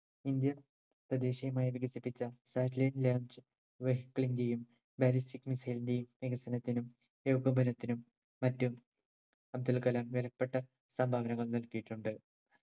indian തദ്ദേശിയുമായി വികസിപ്പിച്ച satellite launch vehicle ന്റെയും ballistic missile ന്റെയും വികസനത്തിനും ഏകോപനത്തിനും മറ്റും അബ്ദുൽകലാം വിലപ്പെട്ട സംഭാവനകൾ നൽകിയിട്ടുണ്ട്